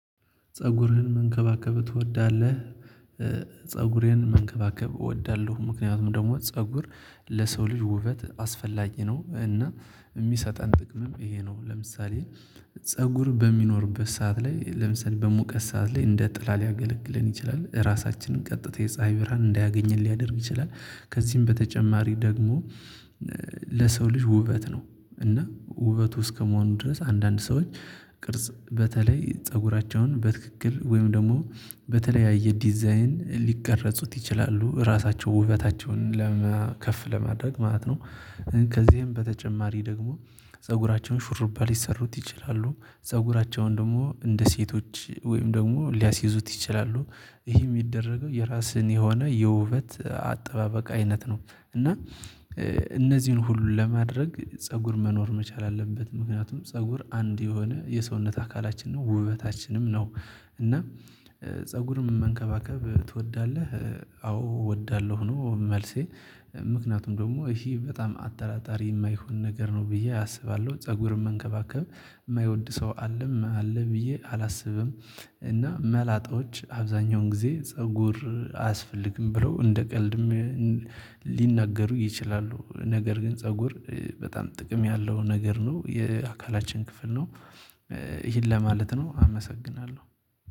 ፀጉርህን መንከባከብ ትወዳለህ? ፀጉሬን መንከባከብ እወዳለሁ። ምክንያቱም ደግሞ ፀጉር ለሰው ልጅ ውበት አስፈላጊ ነው። እና የሚሰጠን ጥቅምም ይሄ ነው። ለምሳሌ ፀጉር በሚኖርበት ሰዓት ላይ ለምሳሌ በሙቀት ሰዓት ላይ እንደ ጥላ ሊያገለግለን ይችላል ራሳችንን ቀጥተን የፀሀይ ብርሃን እንዳያገኘን ሊያደርግ ይችላል። ከዚህም በተጨማሪ ደግሞ ለሰው ልጅ ውበት ነው። እና ውበቱ እስከመሆኑ ድረስ አንዳንድ ሰዎች ቅርጽ በተለይ ፀጉራቸውን በትክክል ወይም ደግሞ በተለያየ ዲዛይን ሊቀረጹት ይችላሉ ራሳቸው ውበታቸውን መከፍ ለማድረግ ማለት ነው። ከዚህም በተጨማሪ ደግሞ ፀጉራቸውን ሹርባ ሊሰሩት ይችላሉ። ፀጉራቸውን ደግሞ እንደ ሴቶች ወይም ደግሞ ሊያስይዙት ይችላሉ። ይሄ የሚደረገው የራስህን የሆነ የውበት አጠባበቅ አይነት ነው። እና እነዚህን ሁሉ ለማድረግ ፀጉር መኖር መቻል አለበት። ምክንያቱም ፀጉር አንድ የሆነ የሰውነት አካላችን ነው ውበታችንም ነው። እና ፀጉርም መንከባከብ ትወዳለህ? አዎ እወዳለሁ ነው መልሴ። ምክንያቱም ደግሞ እሺ በጣም አጠራጣሪ የማይሆን ነገር ነው ብዬ አስባለሁ። ፀጉርም መንከባከብ የማይወድ ሰው አለም አለ ብዬ አላስብም። እና መላጦች አብዛኛውን ጊዜ ፀጉር አያስፈልግም ብሎ እንደ ቀልድም ሊናገሩ ይችላሉ። ነገር ግን ፀጉር በጣም ጥቅም ያለው ነገር ነው የአካላችን ክፍል ነው። ይሄን ለማለት ነው አመሰግናለሁ